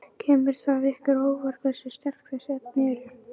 Kemur það ykkur á óvart hversu sterk þessi efni eru?